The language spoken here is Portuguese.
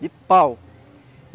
De pau.